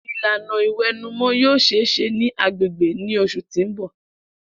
Ilana iwẹnumọ yoo ṣee ṣe ni agbegbe ni oṣu ti n bọ.